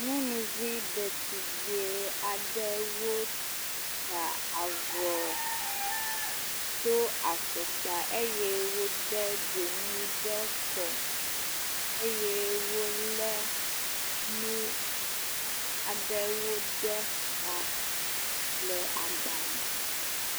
Nyɔnuvi ɖetugbe aɖewo ta avɔ, do afɔkpa eye wode dzonu ɖe kɔ eye wolé nu aɖewo ɖe ta le agba me.